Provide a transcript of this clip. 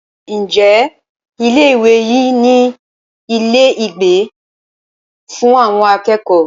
Ǹjẹ́ ilé ìwé yìí ní ilé ìgbé fún àwọn akẹ́kọ̀ọ́?